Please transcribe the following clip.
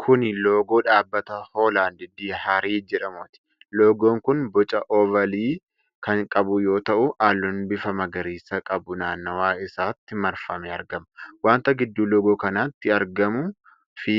Kuni loogoo dhaabbata Hoolaand Diyaarii jedhamuuti. Loogoon kun boca oovaalii kan qabu yoo ta'u halluun bifa magariisaa qabu naannawa isaatti marfamee argama. Wanta gidduu loogoo kanaatti argamuu fi